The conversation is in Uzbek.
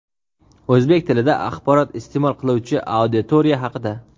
o‘zbek tilida axborot isteʼmol qiluvchi auditoriya haqida.